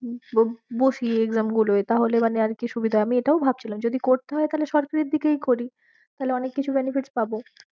বসি exam গুলোয় তাহলে মানে আর কি সুবিধা, আমি এটাও ভাবছিলাম যদি করতে হয়ে তাহলে সরকারির দিকেই করি তাহলে অনেক কিছু benefits পাবো।